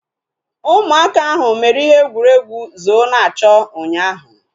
Ụmụaka ahu mere ihe egwuregwu zoo-na-achọ ụnyaahụ